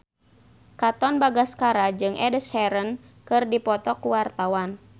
Katon Bagaskara jeung Ed Sheeran keur dipoto ku wartawan